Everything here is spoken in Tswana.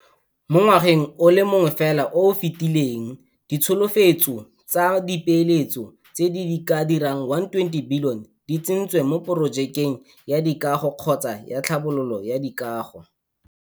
Mo ngwageng o le mongwe fela o o fetileng ditsholofetso tsa dipeeletso tse di ka dirang R120 bilione di tsentswe mo porojekeng ya dikago kgotsa ya tlhabololo ya dikago.